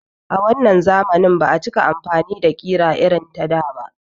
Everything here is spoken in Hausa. A wannan zamani ba a cika amfani da ƙira irin na da